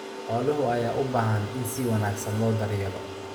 Xoolaha ayaa u baahan in si wanaagsan loo daryeelo.